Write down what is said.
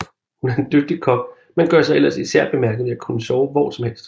Hun er en dygtig kok men gør sig ellers især bemærket ved at kunne sove hvor som helst